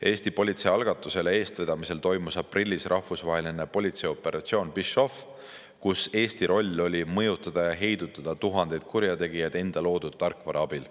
Eesti politsei algatusel ja eestvedamisel toimus aprillis rahvusvaheline politseioperatsioon PhishOff, kus Eesti roll oli mõjutada ja heidutada tuhandeid kurjategijad enda loodud tarkvara abil.